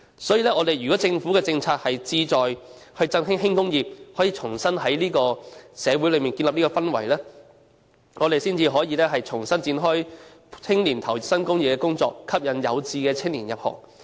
所以，如果政府政策是志在振興輕工業，可以在社會上重新建立氛圍，我們才可以重新展開讓青年投身工業的工作，吸引有志的青年入行。